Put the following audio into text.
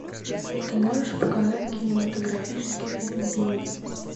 ты можешь показать кинематографический фильм бивень